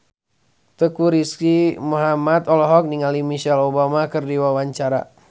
Teuku Rizky Muhammad olohok ningali Michelle Obama keur diwawancara